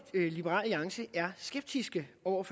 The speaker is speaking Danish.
liberal alliance er skeptisk over